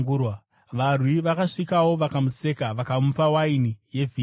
Varwi vakasvikawo vakamuseka. Vakamupa waini yevhiniga